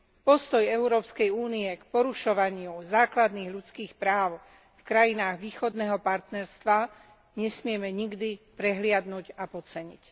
Postoj EÚ k porušovaniu základných ľudských práv v krajinách Východného partnerstva nesmieme nikdy prehliadnuť a podceniť.